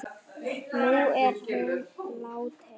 Nú er hún látin.